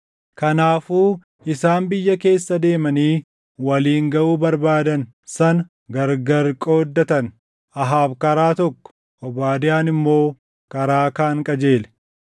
Kanaafuu isaan biyya keessa deemanii waliin gaʼuu barbaadan sana gargari qooddatan; Ahaab karaa tokko, Obaadiyaan immoo karaa kaan qajeele.